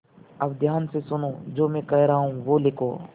अब ध्यान से सुनो जो मैं कह रहा हूँ वह लिखो